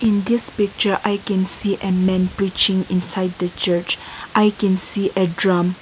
in this picture i can see a men putting inside the church i can see a drum.